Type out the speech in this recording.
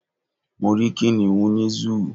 Mo rí kìnìún nínú Zúù